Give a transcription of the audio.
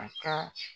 A ka